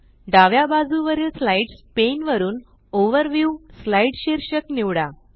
डाव्या बाजुवरील slides pane वरुन ओव्हरव्यू स्लाइड शीर्षक निवडा